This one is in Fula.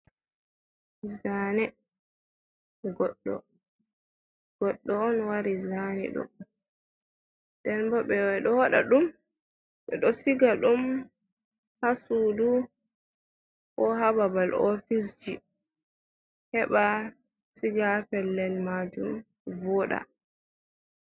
Zane goɗɗo on wari zani ɗum den bo ɓedo waɗa siga ɗum ha suudu ko ha babal ofis heɓa siga pellel majum voɗa.